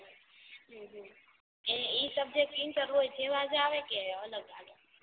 ઉહ ઉહ ઇ subject inter હોય તો એવજ આવે કે અલગ આવે